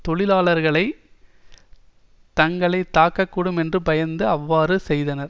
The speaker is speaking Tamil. தொழிலாளர்களை தங்களை தாக்கக் கூடும் என்று பயந்து அவ்வாறு செய்தனர்